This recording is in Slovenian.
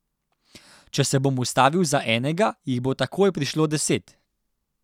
Če se bom ustavil za enega, jih bo takoj prišlo deset.